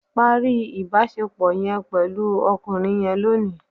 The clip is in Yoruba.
Parí ìbàṣẹpọ̀ yẹn pẹ̀lú ọkùnrin yẹn lónì.